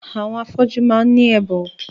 Àwọn afọ́jú máà ń ní ẹ̀bùn.